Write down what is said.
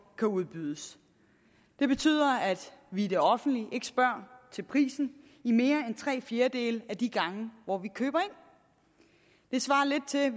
kan udbydes det betyder at vi i det offentlige ikke spørger til prisen i mere end tre fjerdedele af de gange hvor vi køber ind det svarer lidt til at